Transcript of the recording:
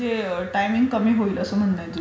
हो ते टायमिंग कमी होईल असं म्हणताय तुम्ही.